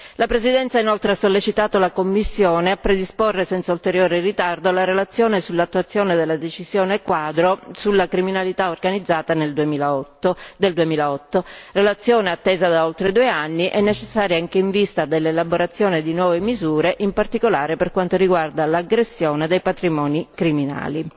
La Presidenza inoltre ha sollecitato la Commissione a predisporre senza ulteriore ritardo la relazione sull'attuazione della decisione quadro sulla criminalità organizzata del 2008, relazione attesa da oltre 2 anni e necessaria anche in vista dell'elaborazione di nuove misure, in particolare per quanto riguarda l'aggressione dei patrimoni criminali.